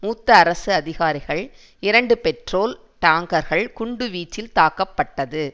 மூத்த அரசு அதிகாரிகள் இரண்டு பெட்ரோல் டாங்கர்கள் குண்டுவீச்சில் தாக்கப்பட்டது